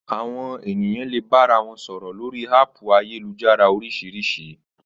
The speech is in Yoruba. Àwọn ènìyàn le bára wọn sọ̀rọ̀ lórii háàpù ayélujára oríṣiríṣi